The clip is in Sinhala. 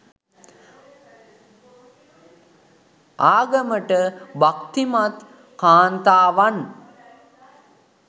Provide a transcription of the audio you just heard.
ආගමට භක්‌තිමත් කාන්තාවන්